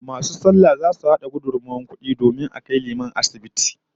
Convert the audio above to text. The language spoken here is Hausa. Masu sallah zasu hada gudummawar kudi domin a kai liman asibiti